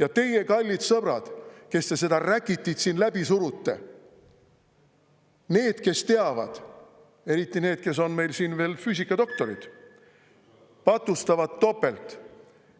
Ja teie, kallid sõbrad, kes te seda räkitit siin läbi surute, need, kes teavad, eriti need, kes on meil siin veel füüsikadoktorid, patustavad topelt